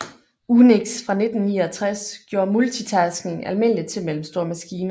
UNIX fra 1969 gjorde multitasking almindeligt til mellemstore maskiner